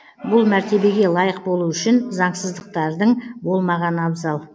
бұл мәртебеге лайық болу үшін заңсыздықтардың болмағаны абзал